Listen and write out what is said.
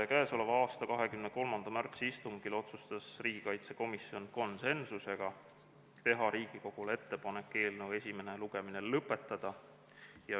Käesoleva aasta 23. märtsi istungil otsustas riigikaitsekomisjon konsensusega teha Riigikogule ettepaneku eelnõu esimene lugemine lõpetada.